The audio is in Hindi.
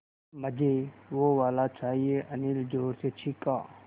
मझे वो वाला चाहिए अनिल ज़ोर से चीख़ा